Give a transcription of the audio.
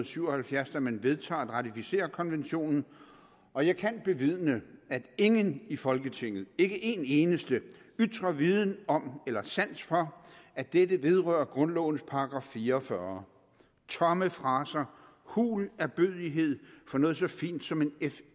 syv og halvfjerds da man vedtager at ratificere konventionen og jeg kan bevidne at ingen i folketinget ikke en eneste ytrer viden om eller sans for at dette vedrører grundlovens § fire og fyrre tomme fraser hul ærbødighed for noget så fint som en